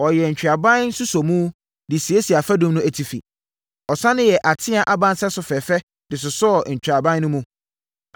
Ɔyɛɛ ntweaban nsosɔmu, de siesiee afadum no atifi. Ɔsane yɛɛ ateaa aba nsɛso fɛfɛ de sosɔɔ ntweaban no mu.